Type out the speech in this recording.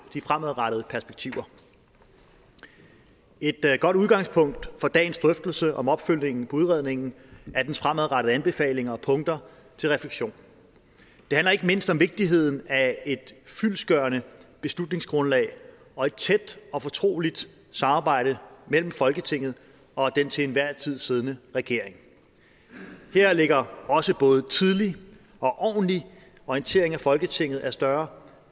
fremadrettede perspektiver et godt udgangspunkt for dagens drøftelse om opfølgningen på udredningen er dens fremadrettede anbefalinger og punkter til refleksion det handler ikke mindst om vigtigheden af et fyldestgørende beslutningsgrundlag og et tæt og fortroligt samarbejde mellem folketinget og den til enhver tid siddende regering heri ligger også en både tidlig og ordentlig orientering af folketinget af større